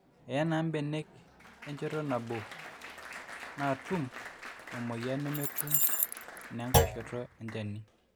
eye naa mbenek enchoto nabo naatum emweyian nemetum inengai shoto enjani